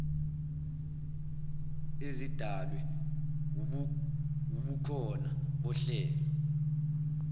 ezidalwe wubukhona bohlelo